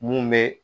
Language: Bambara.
Mun bɛ